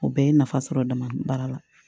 O bɛɛ ye nafa sɔrɔ dama baara la